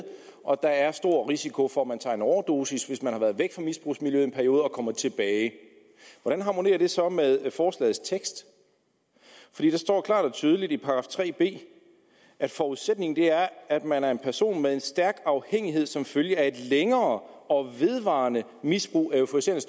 og at der er stor risiko for at man tager en overdosis hvis man har været væk fra misbrugsmiljøet i en periode og kommer tilbage hvordan harmonerer det så med forslagets tekst der står klart og tydeligt i § tre b at forudsætningen er at man er en person med en stærk afhængighed som følge af et længere og vedvarende misbrug af euforiserende